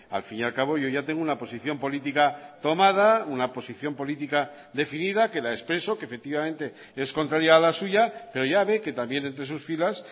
al fin y al cabo yo ya tengo una posición política tomada una posición política definida que la expreso que efectivamente es contraria a la suya pero ya ve que también entre sus filas